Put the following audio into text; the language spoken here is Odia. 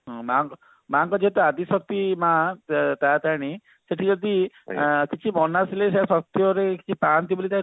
ହଁ ମାଙ୍କ ମାଙ୍କ ଯେହେତୁ ଆଦିଶକ୍ତି ମା ତ ତାରାତାରିଣୀ ସେଠି ଯଦି କିଛି ମନାସିଲେ ସେଟା ସତରେ ପାନ୍ତି ବୋଲି